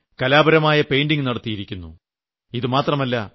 സ്റ്റേഷനിൽ കലാപരമായ പെയിന്റിംഗ് നടത്തിയിരുന്നു